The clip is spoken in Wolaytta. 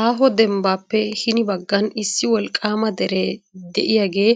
Aaho dembbappe hini baggan issi wolqqama dere de'iyaage